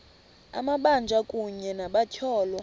amabanjwa kunye nabatyholwa